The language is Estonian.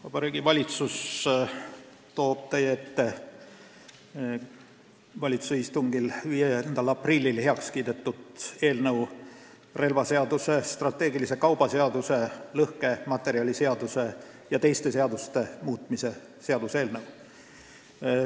Vabariigi Valitsus toob teie ette valitsuse 5. aprilli istungil heaks kiidetud eelnõu, relvaseaduse, strateegilise kauba seaduse, lõhkematerjaliseaduse ja teiste seaduste muutmise seaduse eelnõu.